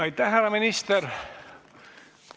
Aitäh, härra minister!